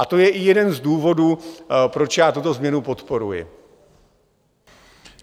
A to je i jeden z důvodů, proč já tuto změnu podporuji.